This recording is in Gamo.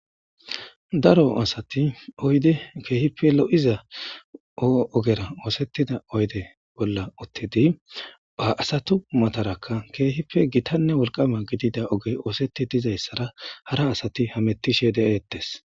daro asati oyde keehipe lo7iza oogera oosettida oyde bolla uttidi aasatu matarakka keehippe gitanne wolqama gidida oge oosetti dizayssara hara asati hamettishe de7eettes